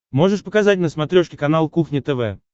можешь показать на смотрешке канал кухня тв